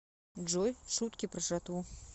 джой шутки про жратву